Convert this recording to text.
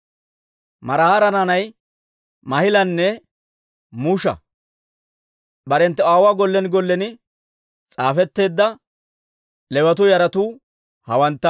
Maraara naanay Maahilanne Musha. Barenttu aawuwaa gollen gollen s'aafetteedda Leewatuu yaratuu hawantta.